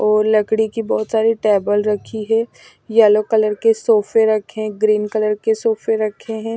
और लकड़ी की बहुत सारी टेबल रखी हैं यलो कलर के सोफे रखे हैं ग्रीन कलर के सोफे रखे हैं।